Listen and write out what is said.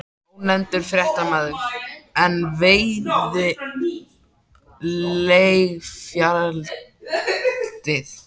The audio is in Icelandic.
Ónefndur fréttamaður: En veiðileyfagjaldið?